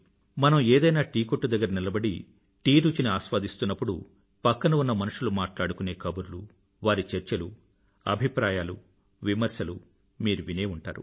మనం ఏదైనా టీకొట్టు దగ్గర నిలబడి టీ రుచిని ఆస్వాదిస్తున్నప్పుడు పక్కన ఉన్న మనుషులు మాట్లాడుకునే కబుర్లు వారి చర్చలు అభిప్రాయాలు విమర్శలు వినే ఉంటారు